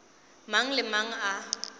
mang le mang a e